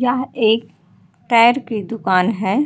यहाँ एक टायर की दुकान है।